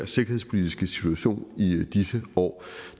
sikkerhedspolitiske situation i disse år